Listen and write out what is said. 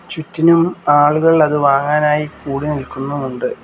ചുറ്റിനും ആളുകൾ അത് വാങ്ങാനായി കൂടിനിൽക്കുന്നുമുണ്ട്.